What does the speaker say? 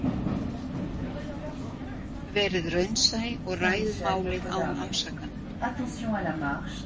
Verið raunsæ og ræðið málið án ásakana.